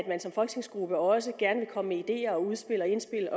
man som folketingsgruppe derfor også gerne vil komme med ideer og udspil og indspil